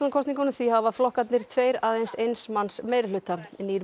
kosningunum því hafa flokkarnir tveir aðeins eins manns meirihluta nýr